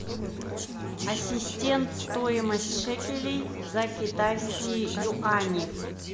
ассистент стоимость шекелей за китайские юани